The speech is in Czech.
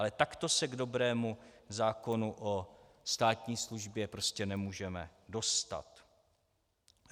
Ale takto se k dobrému zákonu o státní službě prostě nemůžeme dostat.